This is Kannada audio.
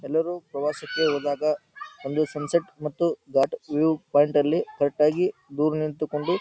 ಎಲ್ಲರೂ ಪ್ರವಾಸಕ್ಕೆ ಹೋದಾಗ ಒಂದು ಸನ್ಸೆಟ್ ಮತ್ತು ಘಾಟ್ ವ್ಯೂ ಪಾಯಿಂಟ್ ಅಲ್ಲಿ ಕರೆಕ್ಟ್ ಆಗಿ ದೂರ ನಿಂತುಕೊಂಡು --